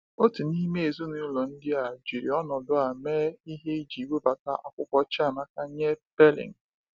Otu n’ime ezinụlọ ndị a jiri ọnọdụ a mee ihe iji webata akwụkwọ Chiamaka nye Pailing.